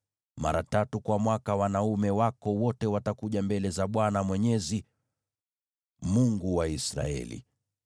Mara tatu kwa mwaka wanaume wako wote watakuja mbele za Bwana Mwenyezi, Mungu wa Israeli.